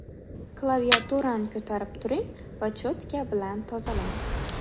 Klaviaturani ko‘tarib turing va cho‘tka bilan tozalang.